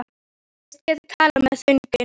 Þeir þykjast geta talað með þögninni.